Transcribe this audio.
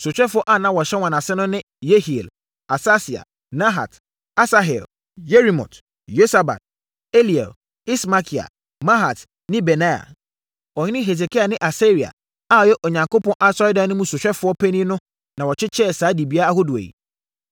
Sohwɛfoɔ a na wɔhyɛ wɔn ase no ne Yehiel, Asasia, Nahat, Asahel, Yerimot, Yosabad, Eliel, Ismakia, Mahat ne Benaia. Ɔhene Hesekia ne Asaria a ɔyɛ Onyankopɔn Asɔredan no mu sohwɛfoɔ panin no na wɔkyekyɛɛ saa dibea ahodoɔ yi.